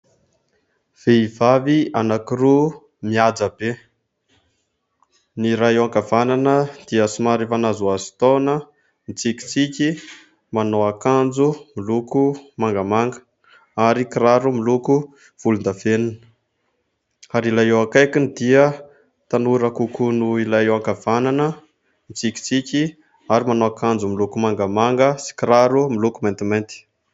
Vehivavy anankiroa mihaja be ny iray eo ankavanana dia somary efa nahazoazo taona, mitsikitsiky manao akanjo miloko mangamanga ary kiraro miloko volondavenona ary ilay eo akaikiny dia tanora kokoa noho ilay eo ankavanana mitsikitsiky ary manao akanjo miloko mangamanga sy kiraro miloko maintimainty.